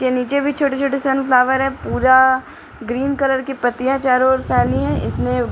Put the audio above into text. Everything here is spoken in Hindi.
के नीचे भी छोटे-छोटे सनफ्लावर है पूरा ग्रीन कलर की पत्तियाँ हैं चारों ओर फैली है इसने --